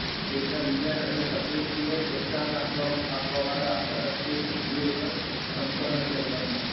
દેશ ના વિજ્ઞાન અને તકનીકી નેપ્રોસહન આપવા વાળ આંતરરાષ્ટ્રીય સંધિઓના સંપન કરવાનું